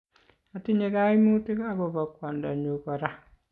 atinye kaimutik akobo kwondonyu kora